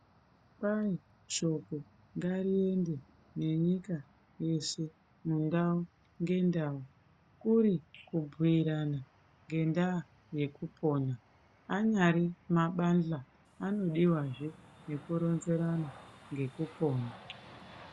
Kwai shoko ngariyende nenyika yeshe , mundau ngendau kuri kubhuira ngendaa yekupona anyari mabasa anodiwazve zvekuronzerana ngekupo.